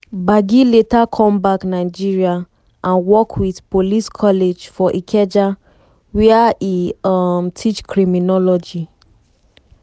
gbagi later come back nigeria and work wit police college for ikeja wia e um teach criminology.